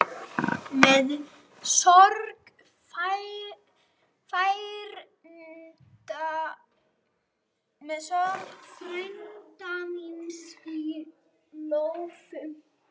Með sorg frænda míns í lófunum.